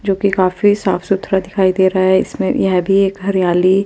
जो की काफी साफ़ सुथरा दिखाई देरा है इसमें येह भी एक हरियाली--